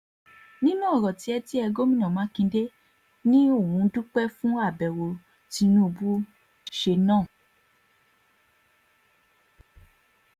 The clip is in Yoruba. nínú ọ̀rọ̀ tiẹ̀ tiẹ̀ gomina makinde ni òun dúpẹ́ fún àbẹ̀wò tí tinubu ṣe náà